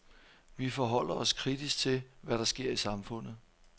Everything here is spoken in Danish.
Vi forholder os kritisk til, hvad der sker i samfundet.